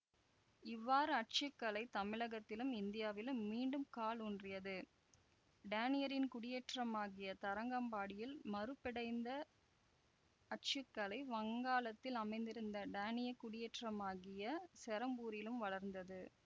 இவ்வாறு அச்சு கலை தமிழகத்திலும்இந்தியாவிலும் மீண்டும் காலூன்றியது டேனியரின் குடியேற்றமாகிய தரங்கம்பாடியில் மறுபிடைந்த அச்சு கலை வங்காளத்தில் அமைந்திருந்த டேனிய குடியேற்றமாகிய செரம்பூரிலும் வளர்ந்தது